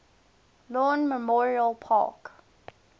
lawn memorial park